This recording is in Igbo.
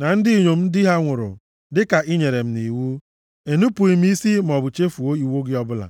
na ndị inyom di ha nwụrụ, dịka i nyere m nʼiwu, enupughị m isi maọbụ chefuo iwu gị ọbụla.